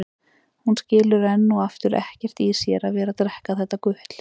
Hún skilur enn og aftur ekkert í sér að vera að drekka þetta gutl.